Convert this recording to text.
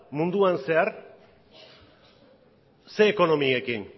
munduan zehar zein ekonomiekin